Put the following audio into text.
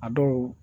A dɔw